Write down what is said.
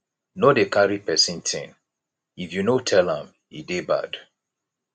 no dey carry pesin tin if you no tell am e dey bad